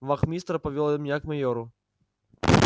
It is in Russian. вахмистр повёл меня к майору